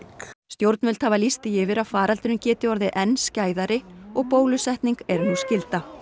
stjórnvöld hafa lýst því yfir að faraldurinn geti orðið enn skæðari og bólusetning er nú skylda